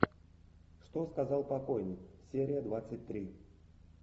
что сказал покойник серия двадцать три